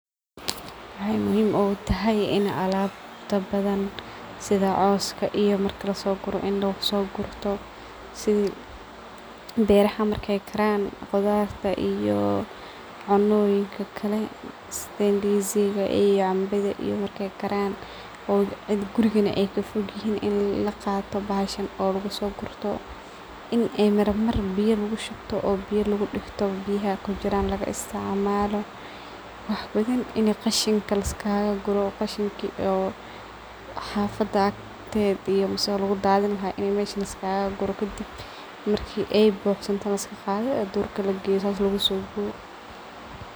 Waxay muhiim oga tahay sidha alabta badhan sidha cooska iyo marka lasoguro in laguso gurto sidhii beeraha marki karaan qudharta iyo cunoyinka kalee ndizi ga cambadha iyo markay karaan oo gurigana aay kafoogihin in laqaato bahashan laguso gurto in ay mar mar biiyo lagushubto biyo lagudigto ay biyaha kujiraan lagi isticmaalo wax badhaan in qashinka laaiskagaguro qashanki oo xafada aktedhi iyo mas oo lugudadhini lahaa meesh laa iskaguro kadib marki ay buxsantana laaiska gaadho duurka lageyo saas lagusubiyo.